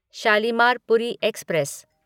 Shalimar Puri express